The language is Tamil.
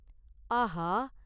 “ஆஹா!